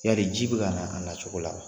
Yari ji bɛ ka na a na cogo la wa